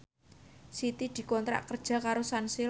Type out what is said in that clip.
Siti dikontrak kerja karo Sunsilk